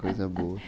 Coisa boa.